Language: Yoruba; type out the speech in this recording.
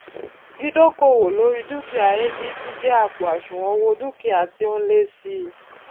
dídókòwó lóri dúkìá abc jé àpò àṣùwòn owó dúkìá tí ó n lé sí i